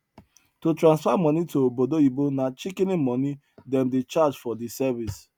to transfer money to obodoyibo na shikini money them dey charge for di service